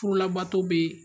Furulabato bee